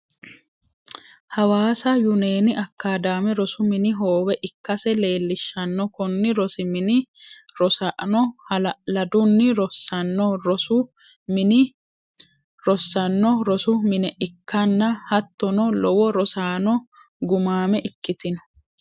Hawassa union akkadame rosu mini hoowe ikkase leelishanno koni rosi mine rosaano ha'la'ladunni rosanno rosu mine ikkanna hattono lowo rossanno gumaame ikkitino